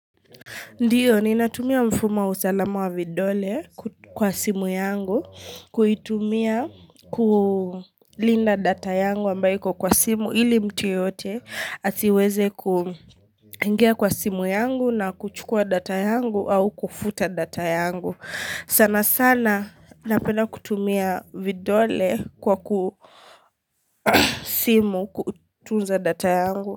Ndiyo ni natumia mfumo wa usalama wa vidole kwa simu yangu kuitumia kulinda data yangu ambayo iko kwa simu ili mtu yoyote asiweze kuingia kwa simu yangu na kuchukua data yangu au kufuta data yangu sana sana napenda kutumia vidole kwa simu kutunza data yangu.